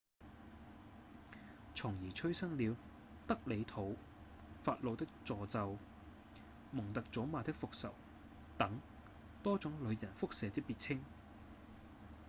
從而催生了「德里肚」、「法老的詛咒」、「蒙特祖瑪的復仇」等多種旅人腹瀉之別稱